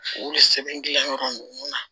U bɛ sɛbɛn gilan yɔrɔ ninnu na